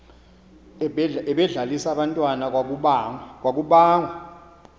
ebedlalisa abantwana kwakubangwa